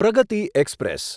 Pragati express